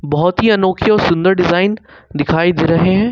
बहुत ही अनोखी और सुंदर डिजाइन दिखाई दे रहे हैं।